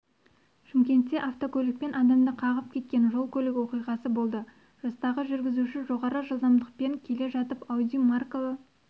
шымкентте автокөлікпен адамды қағып кеткен жол-көлік оқиғасы болды жастағы жүргізуші жоғары жылдамдықпен келе жатып ауди маркалы